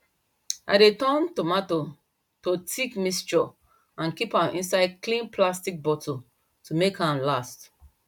i dey turn tomato to thick mixture and keep am inside clean plastic bottle to make am last